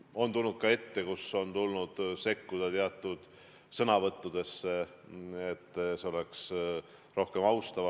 On juhtunud, et on tulnud sõnavõttu sekkuda ja paluda, et see oleks rohkem austav.